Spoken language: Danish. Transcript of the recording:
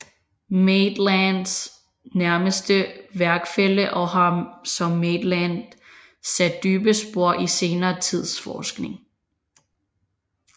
Maitlands nærmeste værkfælle og har som Maitland sat dybe spor i senere tids forskning